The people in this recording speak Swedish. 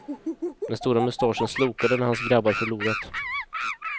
Den stora mustaschen slokade när hans grabbar förlorat.